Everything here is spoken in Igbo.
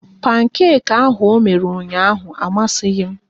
Pankeki ahụ ọ mere ụnyaahụ amaghị m